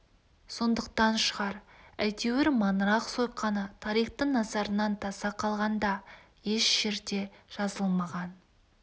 сондықтан шығар әйтеуір маңырақ сойқаны тарихтың назарынан таса қалған да еш жерде жазылмаған